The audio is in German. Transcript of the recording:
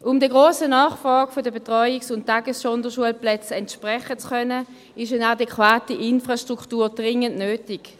Um der grossen Nachfrage der Betreuungs- und Tagessonderschulplätzen entsprechen zu können, ist eine adäquate Infrastruktur dringend nötig.